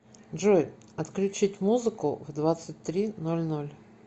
джой отключить музыку в двадцать три ноль ноль